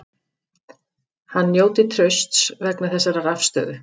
Hann njóti trausts vegna þessarar afstöðu